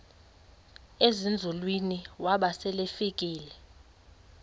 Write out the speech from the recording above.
ezinzulwini waba selefika